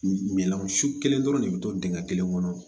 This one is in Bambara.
Minan su kelen dɔrɔn de bɛ to dingɛ kelen kɔnɔ